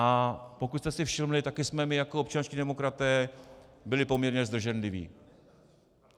A pokud jste si všimli, taky jsme my jako občanští demokraté byli poměrně zdrženliví.